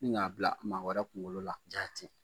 Ni k'a bila maa wɛrɛ kungolo la jaati.